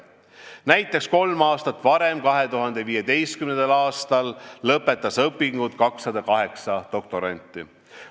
Näiteks kolm aastat varem, 2015. aastal lõpetas õpingud 208 doktoranti.